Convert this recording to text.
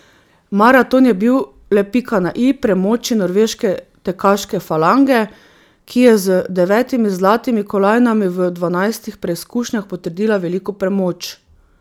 Maraton je bil le pika na i premoči norveške tekaške falange, ki je z devetimi zlatimi kolajnami v dvanajstih preizkušnjah potrdila veliko premoč.